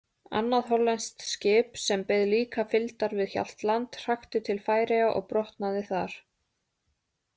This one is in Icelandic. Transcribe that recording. Annað hollenskt skip, sem beið líka fylgdar við Hjaltland, hrakti til Færeyja og brotnaði þar.